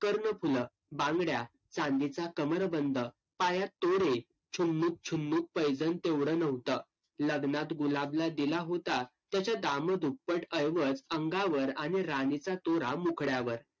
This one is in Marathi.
कर्णफुलं, बांगड्या, चांदीचा कमरबंद, पायात तोडे, पैंजण तेवढं नव्हतं. लग्नात गुलाबला दिला होता त्याच्या दामदुप्पट ऐवज अंगावर आणि राणीचा तुरा मुखड्यावर.